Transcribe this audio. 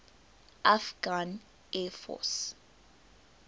afghan air force